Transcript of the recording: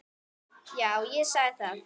Já, ég sagði það.